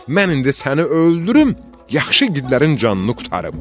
Mən indi səni öldürüm, yaxşı igidlərin canını qurtarım.